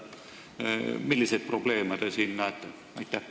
Milliseid probleeme te siin näete?